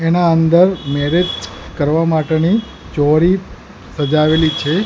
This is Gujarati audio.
એના અંદર મેરેજ કરવા માટેની ચોરી સજાવેલી છે.